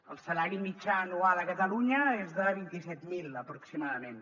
el salari mitjà anual a catalunya és de vint set mil aproximadament